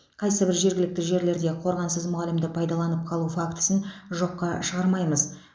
қайсыбір жергілікті жерлерде қорғансыз мұғалімді пайдаланып қалу фактісін жоққа шығармаймыз